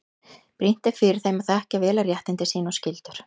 Brýnt er fyrir þeim að þekkja vel réttindi sín og skyldur.